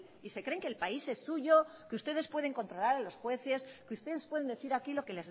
y se creen que el país es suyo que ustedes pueden controlar a los jueces que ustedes pueden decir aquí lo que